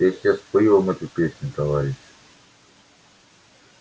я сейчас спою вам эту песню товарищи